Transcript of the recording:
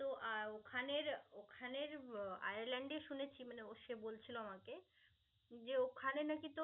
তো আহ ওখানের ওখানের আয়ারল্যন্ডে শুনেছি মানে ও সে বলছিল আমাকে. যে ওখানে নাকি তো